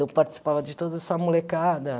Eu participava de toda essa molecada.